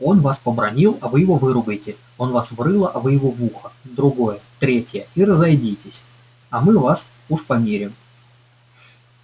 он вас побранил а вы его выругайте он вас в рыло а вы его в ухо в другое в третье и разойдитесь а мы вас уж помирим